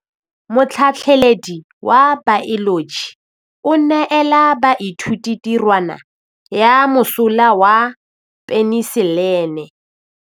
Motlhatlhaledi wa baeloji o neela baithuti tirwana ya mosola wa peniselene.